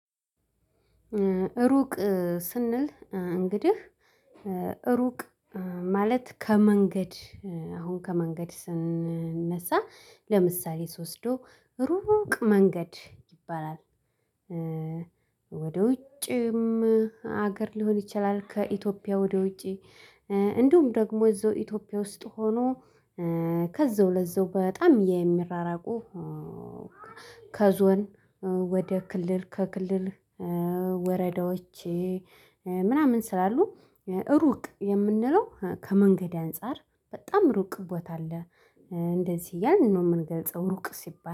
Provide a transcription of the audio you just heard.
ሩቅ ስንል እንግዲህ ሩቅ ማለት ከመንገድ አሁን ከመንገድ ስንነሳ ለምሳሌ ስወስደው ሩቅ መንገድ ይባላል። ወደ ውጭም ሀገር ሊሆን ይችላል ከኢትዮጵያ ወደ ውጪ። እንዲሁም ደግሞ እዛው ኢትዮጵያ ውስጥ ሆኖ ከዛው ለዛው በጣም የሚራራቁ። ከዞን ወደ ክልል ከክልል ወረዳዎቼ ምናምን ስላሉ ሩቅ የምንለው ከመንገድ አንፃር በጣም ሩቅ ቦታ አለ። እንደዚህ ያንን ነው የምንገልጸው ሩቅ ሲባል